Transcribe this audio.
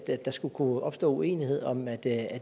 der skulle kunne opstå uenighed om at det